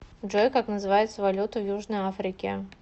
джой как называется валюта в южной африке